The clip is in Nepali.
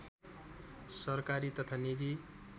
सरकारी तथा निजी